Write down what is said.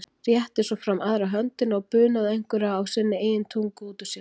Rétti svo fram aðra höndina og bunaði einhverju á sinni eigin tungu út úr sér.